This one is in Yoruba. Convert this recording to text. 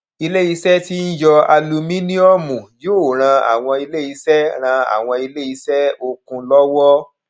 iléiṣẹ tí ń yọ alumíníọmù yóò ràn àwọn iléiṣẹ ràn àwọn iléiṣẹ okùn lọwọ